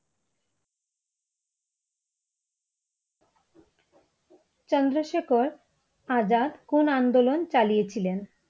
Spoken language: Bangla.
চন্দ্রশেখর আজাদ কোন আন্দোলন চালিয়ে ছিলেন?